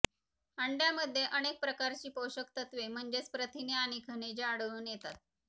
अंड्यामध्ये अनेक प्रकारची पोषक तत्वे म्हजेच प्रथिने आणि खनिजे आढळून येतात